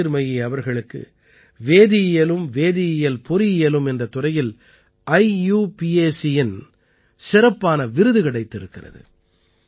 ஜோதிர்மயி அவர்களுக்கு வேதியியலும் வேதியியல் பொறியியலும் என்ற துறையில் IUPACஇன் சிறப்பான விருது கிடைத்திருக்கிறது